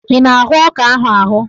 Ị na-ahụ ọka ahụ?